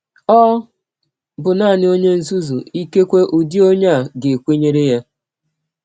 Ọ bụ nanị ọnye nzuzu ikekwe ụdị ọnye a ga - ekwenyere ya.